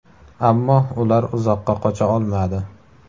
Ammo ular uzoqqa qocha olmadi.